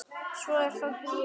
Svo er það búið.